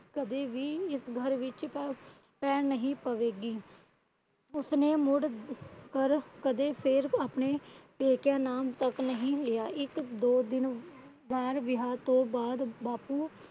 ਕਦੀ ਵੀ ਇਸ ਘਰ ਵਿੱਚ ਪੈਰ ਨਹੀਂ ਪਾਵੇਗੀ। ਉਸ ਨਾ ਮੁੜ ਕਦੇ ਆਪਣੇ ਪੇਕਿਆਂ ਦਾ ਨਾਮ ਤਕ ਨਹੀਂ ਲਿਆ। ਇੱਕ ਦੋ ਦਿਨ ਬਾਅਦ ਵਿਆਹ ਤੋਂ ਬਾਪੂ ਕਦੇ